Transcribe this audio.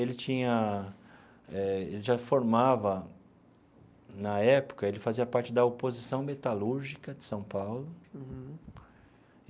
Ele tinha eh ele já formava... Na época, ele fazia parte da oposição metalúrgica de São Paulo.